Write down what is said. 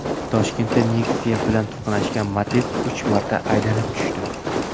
Toshkentda Nexia bilan to‘qnashgan Matiz uch marta aylanib tushdi.